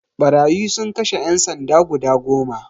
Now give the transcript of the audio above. Ɓarayi sun kashe ƴan sanda guda goma